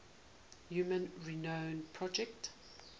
human genome project